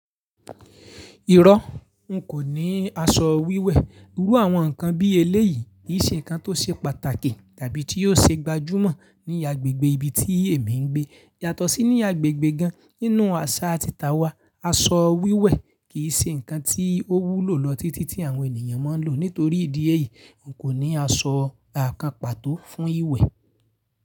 Irọ́, n kò ní aṣọ wíwẹ̀. Irú àwọn ǹkan bí eléyìí kì í ṣe ǹkan tó ṣe pàtàkì tàbí tí yóò ṣe gbajúmọ̀ ní agbègbè ibi tí èmi ń gbé. Yàtọ̀ sí ní agbègbè gan nínú àṣà àti ìtà wa, aṣọ wíwẹ̀ kì í ṣe ǹkan tí ó wúlò lọ títí tí àwọn ènìyàn máa ń lò ó. Nítorí ìdí èyí, n kò ní aṣọ kan pató fún ìwẹ̀.